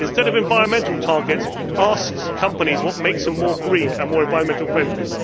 Instead of environmental targets, ask companies what makes them greener and more environmentally friendly.